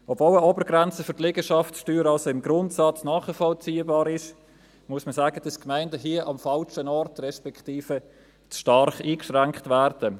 Obwohl eine Obergrenze für die Liegenschaftssteuern im Grundsatz nachvollziehbar ist, muss man sagen, dass die Gemeinden hier am falschen Ort, respektive zu stark eingeschränkt werden.